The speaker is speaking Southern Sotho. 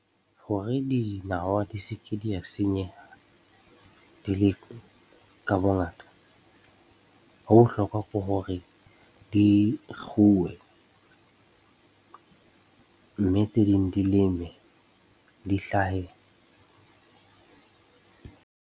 Hore dinawa di se ke di a senyeha, di le ka bongata, ho bohlokwa ke hore di kguwe mme tse ding di leme, di hlahe.